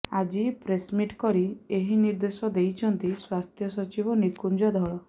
ଆଜି ପ୍ରେସମିଟ୍ କରି ଏହି ନିର୍ଦ୍ଦେଶ ଦେଇଛନ୍ତି ସ୍ୱାସ୍ଥ୍ୟ ସଚିବ ନିକୁଞ୍ଜ ଧଳ